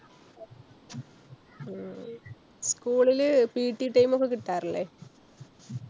ഹും school ല് PT time ഒക്കെ കിട്ടാറില്ലേ?